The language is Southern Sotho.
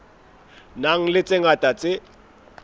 nang le tse ngata tse